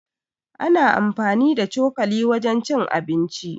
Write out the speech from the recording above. Ana anfani da cokali wajen cin abinci.